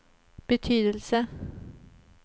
betydelse